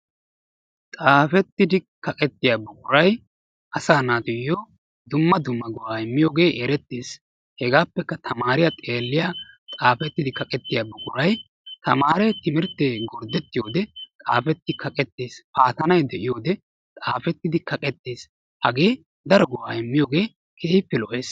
Xaafettidi kaqettiya buquray asaa naatuyo dumma dumma go'aa immiyooge erettis. hegaappekka tamaariya xeeliya xaafettidi kaqettiya buquray tamaare timirtte gordettiyode xaafetti kaqettes, paatanay de'iyoode xaafettidi kaqettes, hagee daro go"aa immiyogee keehippe lo"ees.